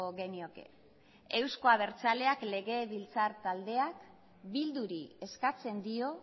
genioke euzko abertzaleak legebiltzar taldeak bilduri eskatzen dio